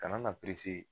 Kana na